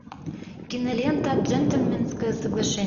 кинолента джентльменское соглашение